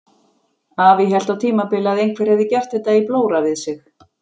Afi hélt á tímabili að einhver hefði gert þetta í blóra við sig.